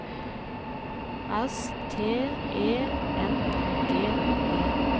S T E N G E